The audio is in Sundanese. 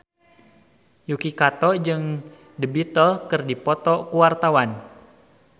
Yuki Kato jeung The Beatles keur dipoto ku wartawan